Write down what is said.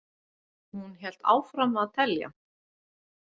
Hún hélt áfram að telja.